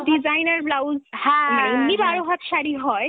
designer blouse মানে এমনি বারো হাত শাড়ি হয়,